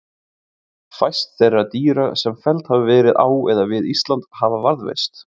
Fæst þeirra dýra sem felld hafa verið á eða við Ísland hafa varðveist.